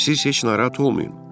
Siz heç narahat olmayın.